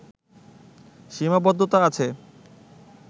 সীমাবদ্ধতা আছে